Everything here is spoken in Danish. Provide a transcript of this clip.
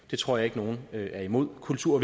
det tror jeg ikke nogen er imod kultur